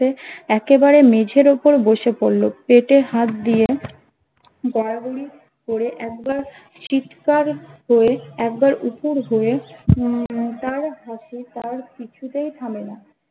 একেবারে মেঝের উপর বসে পড়ল পেটে হাত দিয়ে গড়াগড়ি করে একবার চিৎকার হয়ে একবার উপুড় হয়ে উম তার হাসি তার কিছুতেই থামেনা